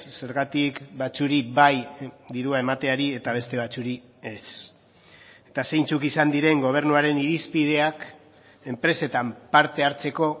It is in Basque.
zergatik batzuei bai dirua emateari eta beste batzuei ez eta zeintzuk izan diren gobernuaren irizpideak enpresetan parte hartzeko